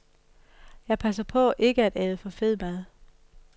Jeg passer på ikke at æde for fed mad.